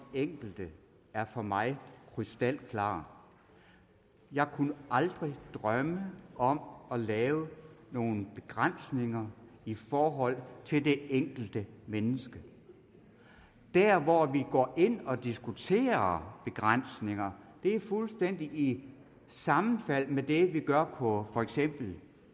enkelte er for mig krystalklar jeg kunne aldrig drømme om at lave nogen begrænsninger i forhold til det enkelte menneske der hvor vi går ind og diskuterer begrænsninger er fuldstændig sammenfaldende med det vi gør på for eksempel